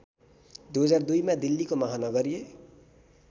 २००२मा दिल्लीको महानगरीय